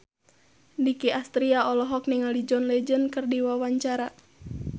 Nicky Astria olohok ningali John Legend keur diwawancara